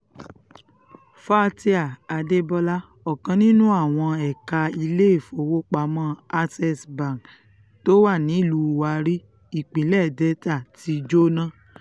faith adébọlá ọ̀kan nínú àwọn ẹ̀ka iléèfowópamọ́ access bank tó wà nílùú warri ìpínlẹ̀ delta ti jóná